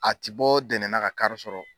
A ti bɔ dɛnɛna ka kari sɔrɔ.